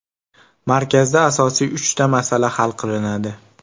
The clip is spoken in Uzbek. Markazda asosiy uchta masala hal qilinadi.